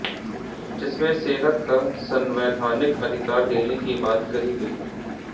जिसमें सेहत का संवैधानिक अधिकार देने की बात कही गई है